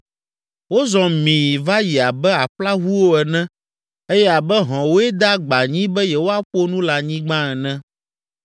Wozɔ mii va yi abe aƒlaʋuwo ene eye abe hɔ̃woe de agba anyi be yewoaƒo nu le anyigba ene.